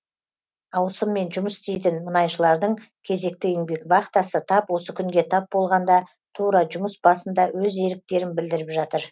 ауысыммен жұмыс істейтін мұнайшылардың кезекті еңбек вахтасы тап осы күнге тап болғанда тура жұмыс басында өз еріктерін білдіріп жатыр